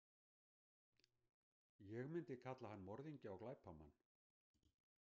Ég myndi kalla hann morðingja og glæpamann.